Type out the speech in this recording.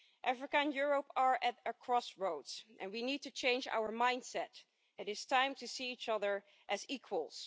Africa and Europe are at a crossroads, and we need to change our mindset, it is time to see each other as equals.